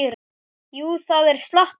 Jú, það er slatti.